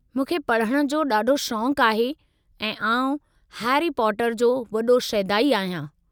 मूंखे पढ़णु जो ॾाढो शौक़ु आहे ऐं आउं हैरी पॉटर जो वॾो शैदाई आहियां।